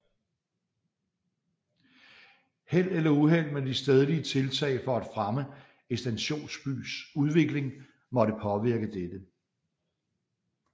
Held eller uheld med de stedlige tiltag for at fremme en stationsbys udvikling måtte påvirke dette